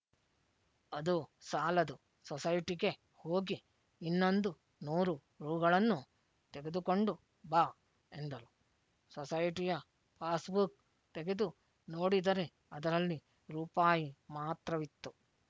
ಅದು ಸಾಲದು ಸೊಸೈಟಿಗೆ ಹೋಗಿ ಇನ್ನೊಂದು ನೂರು ರೂಗಳನ್ನು ತೆಗೆದುಕೊಂಡು ಬಾ ಎಂದರು ಸೊಸೈಟಿಯ ಪಾಸ್ ಬುಕ್ ತೆಗೆದು ನೋಡಿದರೆ ಅದರಲ್ಲಿ ರೂಪಾಯಿ ಮಾತ್ರವಿತ್ತು